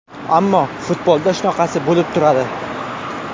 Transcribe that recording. Ammo futbolda shunaqasi bo‘lib turadi.